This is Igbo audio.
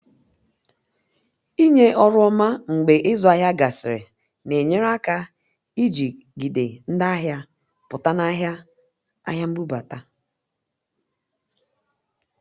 inye ọrụ ọma mgbe izụ ahịa gasịrị na-enyere aka ijigide ndị ahịa pụta na ahịa ahịa mbubata.